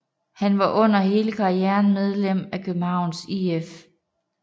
Han var under hele karrieren medlem af Københavns IF